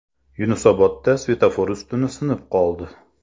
Yunusobodda svetofor ustuni sinib qoldi.